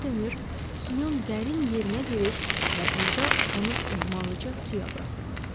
Geri dönür, suyun dərin yerinə girir və burda onu ehtiyatlıca suya buraxırdı.